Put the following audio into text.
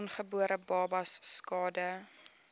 ongebore babas skade